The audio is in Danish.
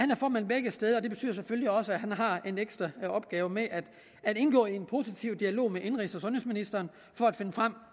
formand begge steder og det betyder selvfølgelig også at han har en ekstra opgave med at indgå i en positiv dialog med indenrigs og sundhedsministeren for at finde frem